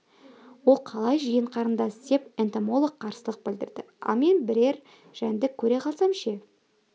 ол қалай жиен қарындас деп энтомолог қарсылық білдірді ал мен бірер жәндік көре қалсам ше